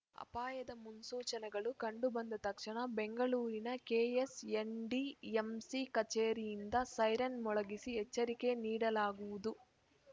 ಅಪಾಯದ ಮುನ್ಸೂಚನೆಗಳು ಕಂಡುಬಂದ ತಕ್ಷಣ ಬೆಂಗಳೂರಿನ ಕೆಎಸ್‌ಎನ್‌ಡಿಎಂಸಿ ಕಚೇರಿಯಿಂದ ಸೈರನ್‌ ಮೊಳಗಿಸಿ ಎಚ್ಚರಿಕೆ ನೀಡಲಾಗುವುದು